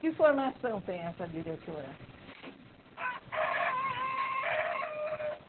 Que formação tem essa diretora?